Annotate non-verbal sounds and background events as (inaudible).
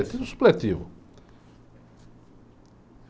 (unintelligible) supletivo.